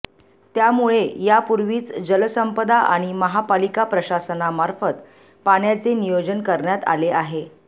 त्यामुळे या पूर्वीच जलसंपदा आणि महापालिका प्रशासना मार्फत पाण्याचे नियोजन करण्यात आले आहे